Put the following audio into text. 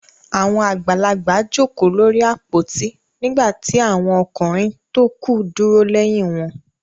Àwọn àgbàlagbà jókòó lórí àpótí nígbà tí àwọn ọkùnrin tókù dúró lẹ́yìn wọn.